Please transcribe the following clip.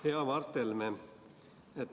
Hea Mart Helme!